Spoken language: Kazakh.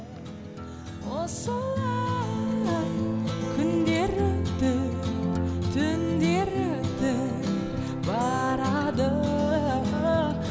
осылай күндер өтіп түндер өтіп барады